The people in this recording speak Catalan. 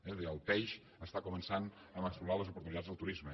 és a dir el peix està començant a explorar les oportunitats del turisme